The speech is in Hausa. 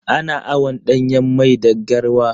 Ana awon ɗanyan mai da garwa.